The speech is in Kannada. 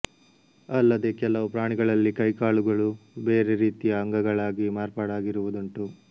ಅಲ್ಲದೆ ಕೆಲವು ಪ್ರಾಣಿಗಳಲ್ಲಿ ಕೈಕಾಲುಗಳು ಬೇರೆ ರೀತಿಯ ಅಂಗಗಳಾಗಿ ಮಾರ್ಪಾಡಾಗಿರುವುದಂಟು